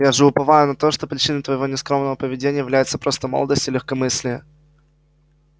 я же уповаю на то что причиной твоего нескромного поведения является просто молодость и легкомыслие